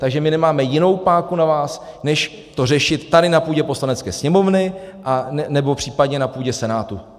Takže my nemáme jinou páku na vás než to řešit tady na půdě Poslanecké sněmovny nebo případně na půdě Senátu.